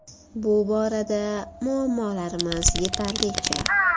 Bu borada muammolarimiz yetarlicha.